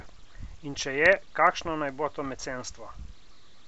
In če je, kakšno naj bo to mecenstvo?